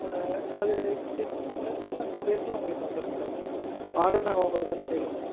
ஆஹ் அது test முடிஞ்சு இன்னும் two days ல உங்களுக்கு வந்துரும் madam order நா உங்களுக்கு வந்து delay